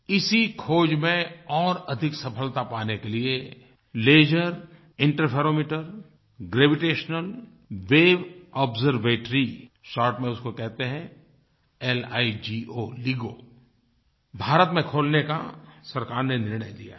इसी खोज में और अधिक सफ़लता पाने के लिए laser interferometer gravitational wave observatory short में उसको कहते हैं लिगो भारत में खोलने का सरकार ने निर्णय लिया है